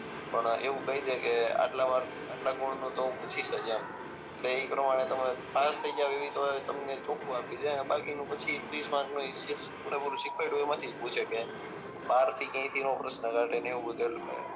પણ એવું કહી દે કે આટલા ગુણ નું તો હું પૂછીશ જ એમ એટલે એ પ્રમાણે તમે પાસ થઈ જાઓ એવું તો તમને ચોખ્ખું આપી દે બાકી નું પછી ત્રીસ માર્ક નું ઈ જી પૂરેપૂરું શીખવાડ્યું હોય એમાં થી જ પૂછે કે બાર થી ક્યાય થી નો પ્રશ્ન કાઢે ને એવું બધું